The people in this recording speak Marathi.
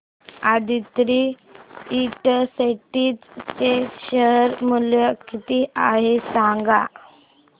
आदित्रि इंडस्ट्रीज चे शेअर मूल्य किती आहे सांगा